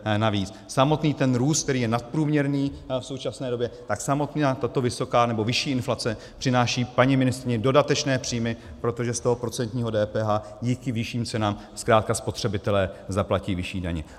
Samotný ten růst, který je nadprůměrný v současné době, tak samotná tato vysoká nebo vyšší inflace přináší paní ministryni dodatečné příjmy, protože z toho procentního DPH díky vyšším cenám zkrátka spotřebitelé zaplatí vyšší daně.